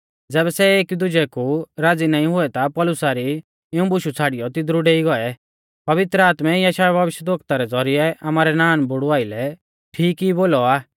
ज़ैबै सै एकीदुजै कु राज़ी नाईं हुऐ ता पौलुसा री इऊं बुशु छ़ाड़ियौ तिदरु डेई गौऐ पवित्र आत्मै यशायाह भविष्यवक्ता रै ज़ौरिऐ आमारै नानबुड़ु आइलै ठीक ई बोलौ आ